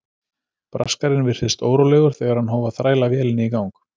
Braskarinn virtist órólegur þegar hann hóf að þræla vélinni í gang.